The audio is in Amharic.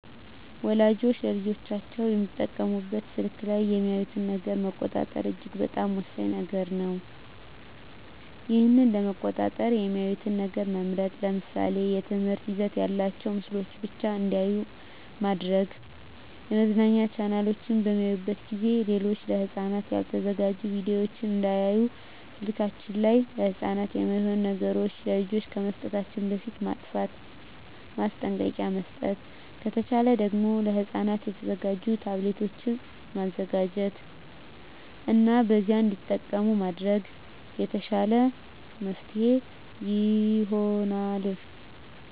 ወላጆች ለልጆቻቸው የሚጠቀሙበት ስልክ ላይ የሚያዩትን ነገር መቆጣጠር እጅግ በጣም ወሳኝ ነገር ነው ይህን ለመቆጣጠር የሚያዩትን ነገር መምረጥ ለምሳሌ የትምህርት ይዘት ያላቸውን ምስሎችን ብቻ እንዲያዩ ማድረግ የመዝናኛ ቻናሎችን በሚያዩበት ጊዜ ሌሎች ለህፃናት ያልተዘጋጁ ቪዲዮወችን እንዳያዩ ስልከችን ላይ ለህፃናት የማይሆኑ ነገሮች ለልጆች ከመስጠታችን በፊት ማጥፍት ማስጠንቀቂያ መስጠት ከተቻለ ደግም ለህፃናት የተዘጋጁ ታብሌቶችን መዘጋጀት እና በዚያ እንዲጠቀሙ ማድረግ የተሻለ መፍትሔ ይሆናል።